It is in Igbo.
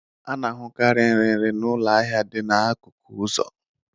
A na-ahụkarị nrinri n'ụlọ ahịa dị n'akụkụ ụzọ